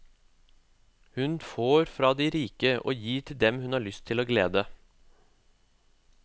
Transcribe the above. Hun får fra de rike og gir til dem hun har lyst til å glede.